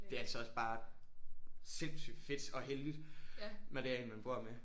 Det er altså også bare sindssygt fedt og heldigt når det er en man bor med der